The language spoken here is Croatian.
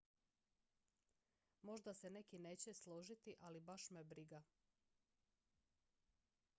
"""možda se neki neće složiti ali baš me briga.